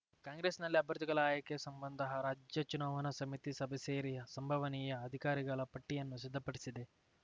ಕಾಂಗ್ರೆಸ್‌ನಲ್ಲಿ ಅಭ್ಯರ್ಥಿಗಳ ಆಯ್ಕೆ ಸಂಬಂಧ ರಾಜ್ಯ ಚುನಾವಣಾ ಸಮಿತಿ ಸಭೆ ಸೇರಿ ಸಂಭಾವನೀಯ ಅಭ್ಯರ್ಥಿಗಳ ಪಟ್ಟಿಯನ್ನು ಸಿದ್ದಪಡಿಸಿದೆ